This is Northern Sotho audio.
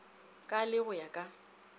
ka le go ya ka